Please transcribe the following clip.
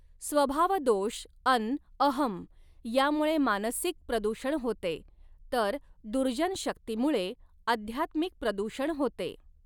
स्वभावदोष अन् अहं यामुळे मानसिक प्रदूषण होते, तर दुर्जन शक्तीमुळे आध्यात्मिक प्रदूषण होते.